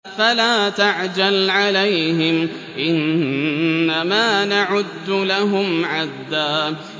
فَلَا تَعْجَلْ عَلَيْهِمْ ۖ إِنَّمَا نَعُدُّ لَهُمْ عَدًّا